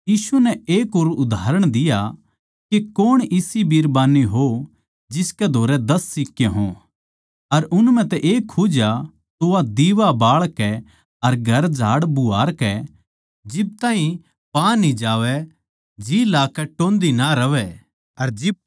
यीशु नै एक और उदाहरण दिया के कौण इसी बिरबान्नी होगी जिसकै धोरै दस सिक्के हों अर उन म्ह तै एक खुज्या तो वा दिवा बाळ कै अर घर झाड़बुहारकै जिब ताहीं पा न्ही जावै जी लाकै टोह्न्दी ना रहवैं